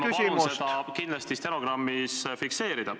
Ma palun selle kindlasti stenogrammis fikseerida.